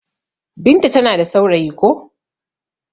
Binta ta na da saurayi ko.